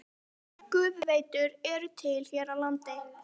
Nokkrar gufuveitur eru til hér á landi.